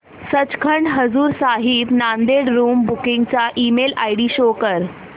Sachkhand Hazur Sahib Nanded room booking चा email ID show कर